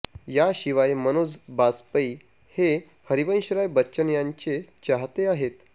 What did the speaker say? याशिवाय मनोज बाजपेयी हे हरिवंशराय बच्चन यांचे चाहते आहेत